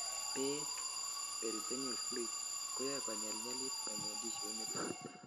beek, peritoneal fluid, koyoe konyelnyelit ngweny en tissue initon